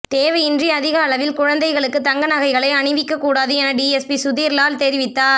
தேவையின்றி அதிகளவில் குழந்தைகளுக்கு தங்க நகைகளை அணிவிக்க கூடாது என டிஎஸ்பி சுதீர்லால் தெரிவித்தார்